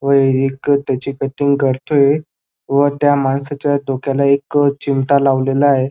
व एक त्यांची कटिंग करतोय व त्या माणसाच्या डोक्याला एक चिमटा लावलेला आहे.